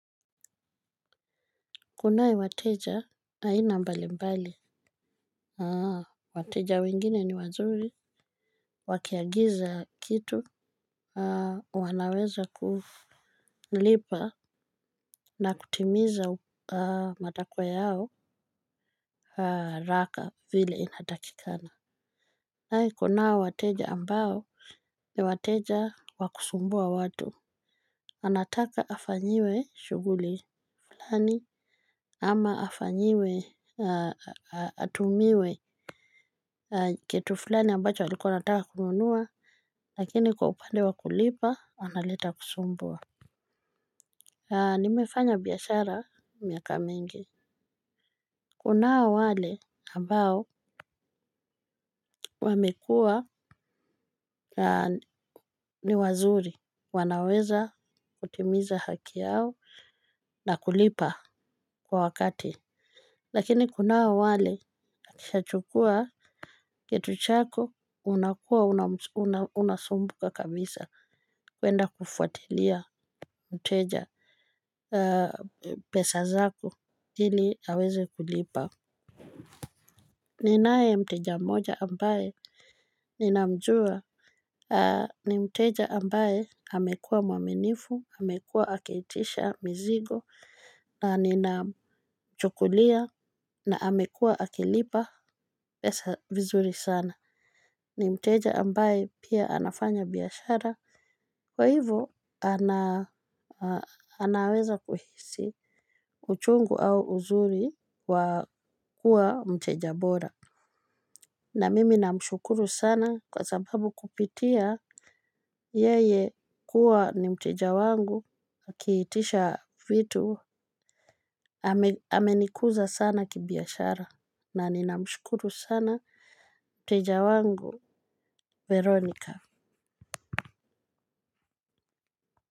Kunaye wateja aina mbali mbali. Wateja wengine ni wazuri wakiagiza kitu wanaweza kulipa na kutimiza matakwa yao haraka vile inatakikana. Kunao wateja ambao ni wateja wa kusumbua watu. Anataka afanyiwe shughuli flani ama afanyiwe atumiwe kitu flani ambacho alikuwa anataka kununua lakini kwa upande wa kulipa analeta kusumbua. Nimefanya biashara miaka mingi. Kunao wale ambao wamekuwa ni wazuri wanaweza kutimiza haki yao na kulipa kwa wakati. Lakini kunao wale akishachukua kitu chako unakuwa unasumbuka kabisa kuenda kufuatilia mteja pesa zako ili aweze kulipa. Ninae mteja mmoja ambaye ninamjua ni mteja ambaye amekuwa mwaminifu amekuwa akiitisha mizigo na ninachukulia na amekuwa akilipa pesa vizuri sana ni mteja ambaye pia anafanya biashara. Kwa hivo ana anaweza kuhisi uchungu au uzuri wa kuwa mteja bora. Na mimi namshukuru sana kwa sababu kupitia yeye kuwa ni mteja wangu akiitisha vitu amenikuza sana kibiashara na ninamshukuru sana mteja wangu veronika.